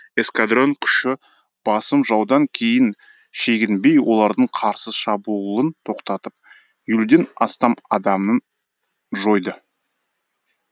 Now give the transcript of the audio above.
эскадрон күші басым жаудан кейін шегінбей олардың қарсы шабуылын тоқтатып елуден астам адамын жойды